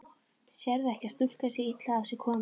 Sérðu ekki að stúlkan er illa á sig komin.